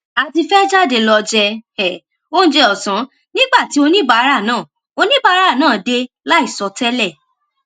a ti fé jáde lọ jẹ um oúnjẹ òsán nígbà tí oníbàárà náà oníbàárà náà dé láì sọ télè